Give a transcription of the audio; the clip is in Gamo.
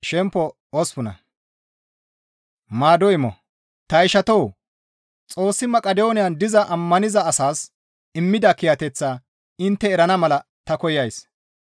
Ta ishatoo! Xoossi Maqidooniyan diza ammaniza asaas immida kiyateththaa intte erana mala ta koyays.